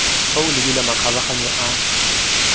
fa o lebile makgabaganyo a